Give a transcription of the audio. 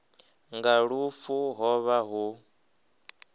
nga lufu ho vha hu